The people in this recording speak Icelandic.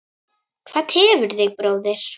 Hvað tefur þig bróðir?